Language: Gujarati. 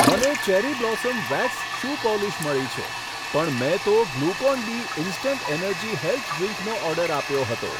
મને cherry blossom wax shoe polish મળી છે, પણ મેં તો Glucon D instant energy health ડ્રીંકનો ઓર્ડર આપ્યો હતો.